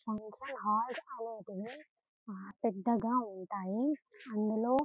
function hall అనేది ఉంది పెద్దగా ఉంటాయి అందులో --